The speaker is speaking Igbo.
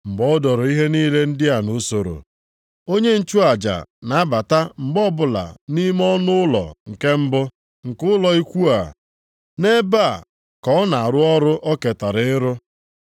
Mgbe e doro ihe niile ndị a nʼusoro, onye nchụaja na-abata mgbe ọbụla nʼime ọnụụlọ nke mbụ nke ụlọ ikwu a. Nʼebe a ka ọ na-arụ ọrụ o ketara ịrụ.